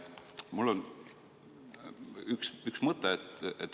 Mul on üks mõte.